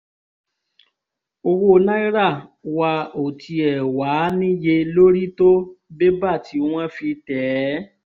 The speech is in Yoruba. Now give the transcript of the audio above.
owó náírà wa ò tiẹ̀ wáá níye lórí tó bébà tí wọ́n fi tẹ̀ ẹ́